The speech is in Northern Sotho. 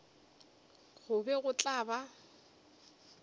go be go tla ba